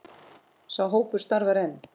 Sá hópur starfar enn.